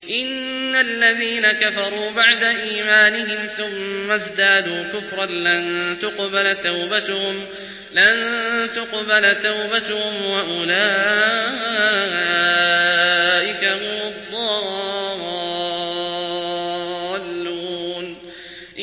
إِنَّ الَّذِينَ كَفَرُوا بَعْدَ إِيمَانِهِمْ ثُمَّ ازْدَادُوا كُفْرًا لَّن تُقْبَلَ تَوْبَتُهُمْ وَأُولَٰئِكَ هُمُ الضَّالُّونَ